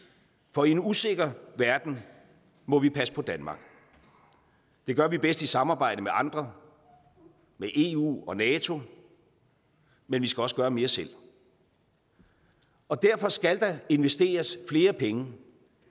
for i en usikker verden må vi passe på danmark det gør vi bedst i samarbejde med andre med eu og nato men vi skal også gøre mere selv og derfor skal der investeres flere penge